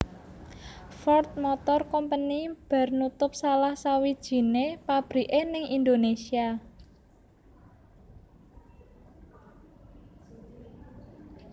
Ford Motor Company bar nutup salah sawijine pabrike ning Indonesia